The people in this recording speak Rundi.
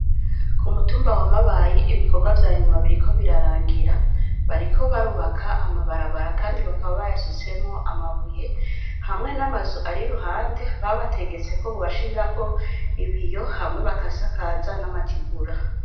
Ku mutumba wa Mabayi ibikorwa vyanyuma biriko birarangira bariko barubaka amabarabara kndi bakaba bayasutsemwo amabuye hamwe n'amazu ari iruhande babategetse ko bonashiriramwo ibiyo Hama bagasakaza n'amategura .